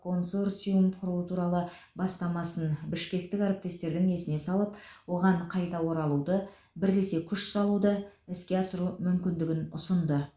консорциум құру туралы бастамасын бішкектік әріптестердің есіне салып оған қайта оралуды бірлесе күш салуды іске асыру мүмкіндігін ұсынды